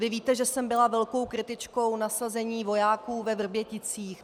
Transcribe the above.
Vy víte, že jsem byla velkou kritičkou nasazení vojáků ve Vrběticích.